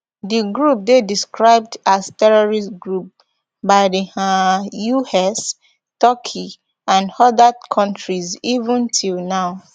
di group dey proscribed as terrorist group by di un us turkey and oda kontris even till now